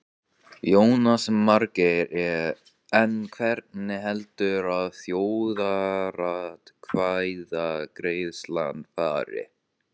Jónas Margeir: En hvernig heldurðu að þjóðaratkvæðagreiðslan fari?